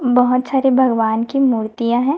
बहोत सारे भगवान की मूर्तियां हैं।